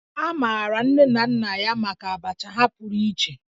A maara nne na nna ya maka Abacha ha pụrụ iche